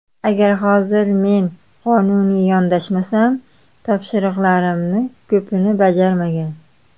Agar hozir men qonuniy yondashsam, topshriqlarimni ko‘pini bajarmagan.